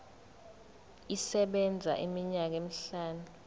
isebenza iminyaka emihlanu